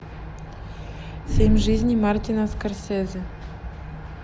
семь жизней мартина скорсезе